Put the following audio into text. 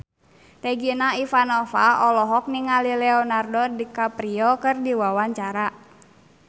Regina Ivanova olohok ningali Leonardo DiCaprio keur diwawancara